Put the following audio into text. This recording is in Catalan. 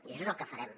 i això és el que farem